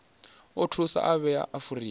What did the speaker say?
o thusa u vhea afurika